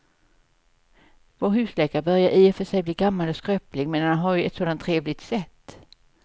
Vår husläkare börjar i och för sig bli gammal och skröplig, men han har ju ett sådant trevligt sätt!